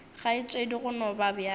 kgaetšedi go no ba bjalo